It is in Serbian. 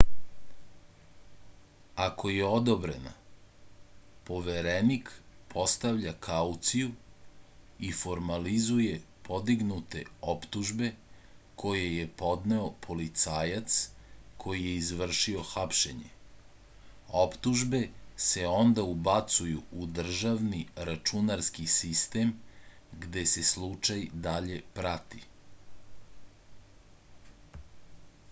ako je odobrena poverenik postavlja kauciju i formalizuje podignute optužbe koje je podneo policajac koji je izvršio hapšenje optužbe se onda ubacuju u državni računarski sitem gde se slučaj dalje prati